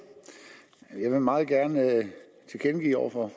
jeg vil meget gerne tilkendegive over for